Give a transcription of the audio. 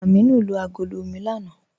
Ámínù lo agọ̀lọ̀ omi lánà.